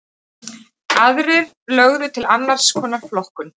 Aðrir lögðu til annars konar flokkun.